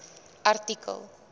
artikel